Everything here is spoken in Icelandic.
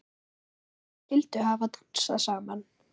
Hverjir skyldu hafa dansað saman?